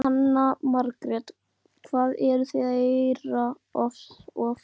Jóhanna Margrét: Hvað eruð þið að heyra oftast?